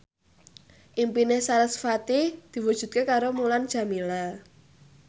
impine sarasvati diwujudke karo Mulan Jameela